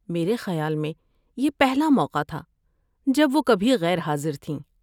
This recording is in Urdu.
میرے خیال میں یہ پہلا موقع تھا جب وہ کبھی غیر حاضر تھیں۔